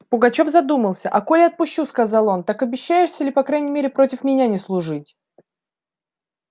пугачёв задумался а коли отпущу сказал он так обещаешься ли по крайней мере против меня не служить